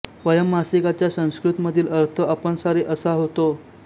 वयम्मासिकाच्या संस्कृत मधील अर्थ आपण सारे असा होतो